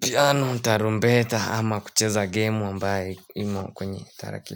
piano tarumbeta ama kucheza game ambaye imo kwenye tarakilishi.